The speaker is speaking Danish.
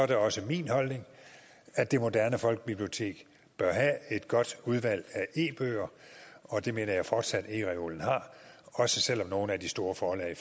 det også min holdning at det moderne folkebibliotek bør have et godt udvalg af e bøger og det mener jeg fortsat ereolen har også selv om nogle af de store forlag